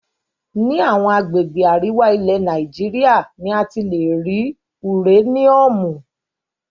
Ní àwọn agbègbè àríwá, ilẹ̀ Nàìjíríà ni a ti lè rí uréníúmù.